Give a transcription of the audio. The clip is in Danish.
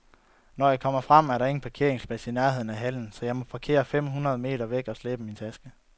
Når jeg kommer frem, er der ingen parkeringsplads i nærheden af hallen, så jeg må parkere fem hundrede meter væk og slæbe min taske.